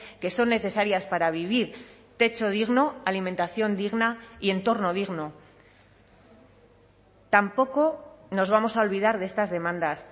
que son necesarias para vivir techo digno alimentación digna y entorno digno tampoco nos vamos a olvidar de estas demandas